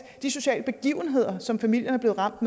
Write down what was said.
de sociale begivenheder som familien er blevet ramt